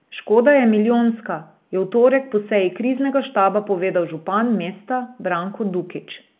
Škoda je milijonska, je v torek po seji kriznega štaba povedal župan mesta Branko Dukić.